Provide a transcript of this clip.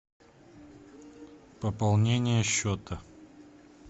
пополнение счета